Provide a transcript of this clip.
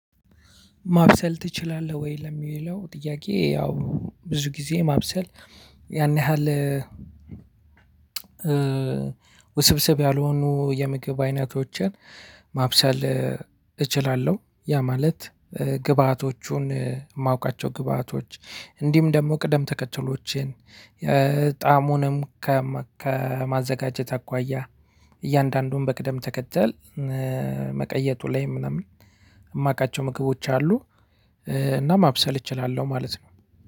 ማብሰል ትችላለህ ወይ ለሚለው ጥያቄ ያው ብዙ ጊዜ ማብሰል ያን ያህል? ውስብስብ ያልሆኑ የምግብ አይነቶችን ማብሰል እችላለሁ ያ ማለት ግብአቶቹን የማውቃቸው ግብአቶች እንዲህም ደግሞ ቅደም ተከተሎችን ጣዓሙንም ከማዘጋጀት አኳያ እያንዳንዱን በቅደም ተከተል መቀየጡ ላይ ምናምን የማውቃቸው ምግቦች አሉ። እና ማብሰል እችላለሁ ማለት ነው።